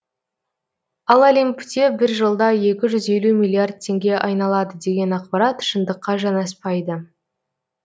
ал олимпте бір жылда екі жүз елу миллиард теңге айналады деген ақпарат шындыққа жанаспайды